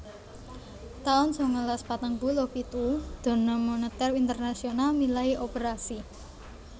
taun sangalas patang puluh pitu Dana Moneter Internasional milai operasi